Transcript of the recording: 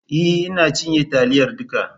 E! Ina cinye taliyar duka.